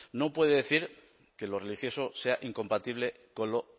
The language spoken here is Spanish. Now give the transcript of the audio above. no puede decir que lo religioso sea incompatible con lo